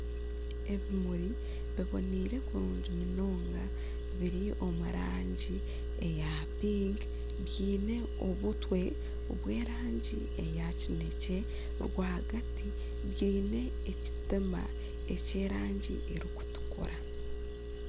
Ebimuri biboneire kurungi munonga biri omu rangi eya pinki biine obutwe obw'erangi eya kinekye, rwagati bwine ekitima eky'erangi erikutukura.